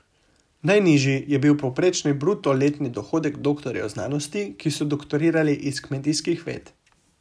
Najnižji je bil povprečni bruto letni dohodek doktorjev znanosti, ki so doktorirali iz kmetijskih ved.